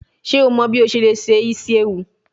Ṣe o mọ bi o ṣe le se isi ewu?